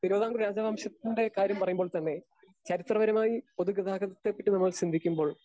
Speaker 2 Thiruvithamkoor രാജവംശത്തിൻ്റെ കാര്യം പറയുമ്പോൾത്തന്നെ. ചരിത്രപരമായി പൊതുഗതാഗതത്തെപ്പറ്റി നമ്മൾ ചിന്തിക്കുമ്പോൾ